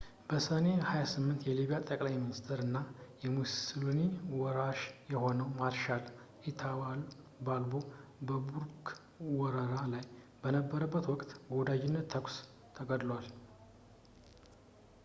በሰኔ 28 የሊቢያ ጠቅላይ ሚኒስትር እና የሙስሉኒ ወራሽ የሆነው ማርሻል ኢታሎ ባልቦ በቶብሩክ ወረራ ላይ በነበረበት ወቅት በወዳጅነት ተኩስ ተገድሏል